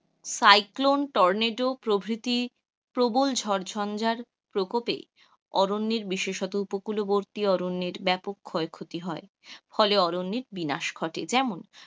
cyclone, tornado, প্রকৃতি প্রবল ঝড় ঝঞ্ঝার প্রকোপে অরণ্যের বিশেষত উপকূলবর্তী অরণ্যের ব্যাপক ক্ষয় ক্ষতি হয়, ফলে অরণ্যের বিনাশ ঘটে যেমন,